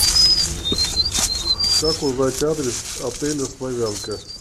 как узнать адрес отеля славянка